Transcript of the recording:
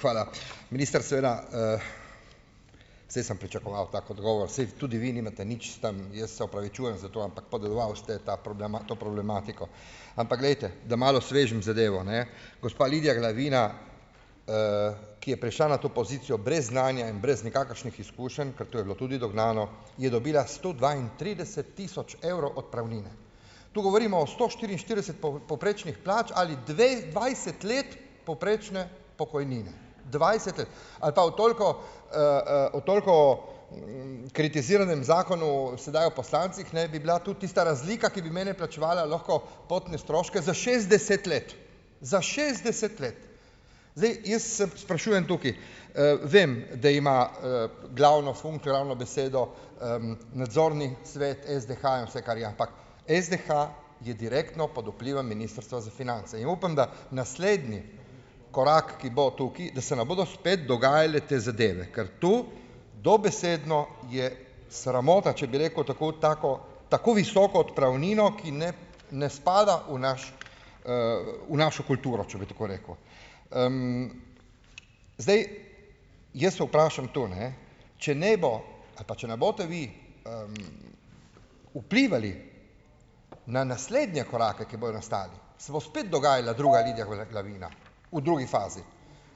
Hvala. Minister seveda, saj sem pričakoval tak odgovor, saj tudi vi nimate nič s tem - jaz se opravičujem za to, ampak podedoval ste ta to problematiko. Ampak glejte, da malo osvežim zadevo, ne. Gospa Lidija Glavina, ki je prišla na to pozicijo brez znanja in brez nikakršnih izkušenj, ker to je bilo tudi dognano, je dobila sto dvaintrideset tisoč evrov odpravnine. To govorimo o sto štiriinštirideset povprečnih plač ali dvajset let povprečne pokojnine, dvajset let. Ali pa o toliko, o toliko, kritiziranem zakonu sedaj o poslancih, ne, bi bila tudi tista razlika, ki bi meni plačevala lahko potne stroške, za šestdeset let, za šestdeset let. Zdaj jaz se sprašujem tukaj - vem, da ima, glavno funkcijo, glavno besedo, nadzorni svet SDH in vse, kar je, ampak SDH je direktno pod vplivom Ministrstva za finance in upam, da naslednji korak, ki bo tukaj, da se ne bodo spet dogajale te zadeve. Ker to dobesedno je sramota, če, bi rekel, tako tako tako visoko odpravnino, ki ne ne spada v naš, v našo kulturo, če bi tako rekel. Zdaj, jaz se vprašam to, ne, če ne bo ali pa, če ne boste vi, vplivali na naslednje korake, ki bojo nastali, se bo spet dogajala druga Lidija Glavina, v drugi fazi.